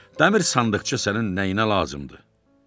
Dəmir sandıqça sənin nəyinə lazımdır?